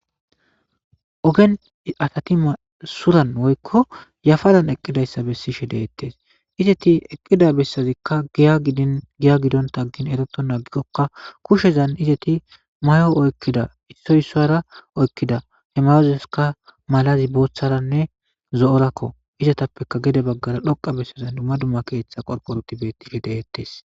ogen atati masuran woykko yafadan eqqidayssa bessishe deettes izeti eqqida bessazikka dgiya gidonta gin eroto naagikokka kushezan izeti mayo oykkida issoysara oykkida he mayozeska malazi booththaranne zo7orakko izatappeka gede baggara dhoqa bessazan dumma duma keeththa qorqoruti bettife deettes